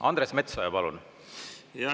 Andres Metsoja, palun!